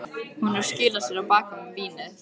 Hún er að skýla sér á bak við vínið.